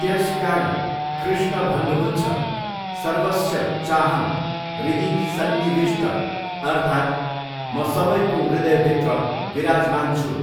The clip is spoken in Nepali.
त्यसकारण कृष्ण भन्नुहुन्छ, सर्वस्य चाहं हृदि सन्निविष्ट अर्थात्, म सबैको हृदयभित्र विराजमान छु।